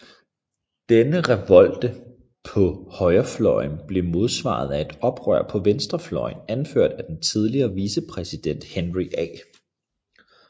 Denne revolte på højrefløjen blev modsvaret af et oprør på venstrefløjen anført af den tidligere vicepræsident Henry A